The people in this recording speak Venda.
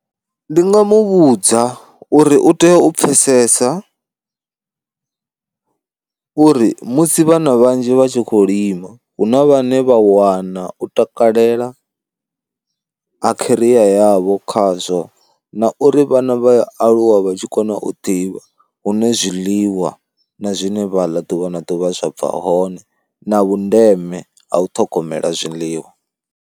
Ndi nga mu vhudza uri u tea u pfhesesa uri musi vhana vhanzhi vha tshi khou lima, hu na vhane vha wana u takalela ha kheriya yavho khazwo na uri vhana vha aluwa vha tshi kona u ḓivha hune zwiḽiwa na zwine vha ḽa ḓuvha na ḓuvha zwa bva hone na vhundeme ha u ṱhogomela zwiḽiwa.